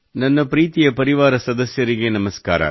ನನ್ನ ಪ್ರೀತಿಯ ಪರಿವಾರ ಸದಸ್ಯರಿಗೆ ನಮಸ್ಕಾರ